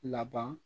Laban